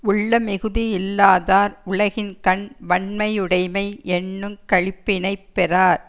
உள்ளமிகுதியில்லாதார் உலகின்கண் வண்மையுடைமை யென்னுங் களிப்பினைப் பெறார்